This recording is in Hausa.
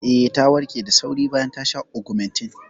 Eh, ta warke da sauri bayan ta sha Ogmentin.